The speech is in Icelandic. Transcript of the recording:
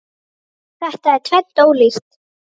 Þetta er tvennt ólíkt.